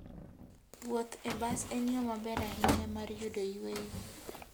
Wuoth e bas en yo maber ahinya mar yudo yueyo.